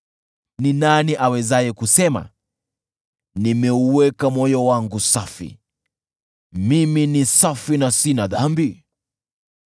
Ni nani awezaye kusema, “Nimeuweka moyo wangu safi; mimi ni safi na sina dhambi?”